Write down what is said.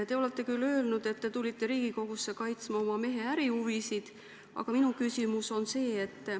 Te olete küll öelnud, et te tulite Riigikogusse kaitsma oma mehe ärihuvisid, aga minu küsimus on selline.